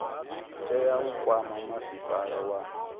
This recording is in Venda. tea u kwama masipala wa